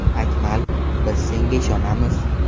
Akmal, biz senga ishonamiz!